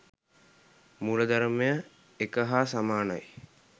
මූලධර්මය එක හා සමානයි.